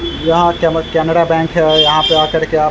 यह कनेरा बैंक है यहाँ पर आकर के आप --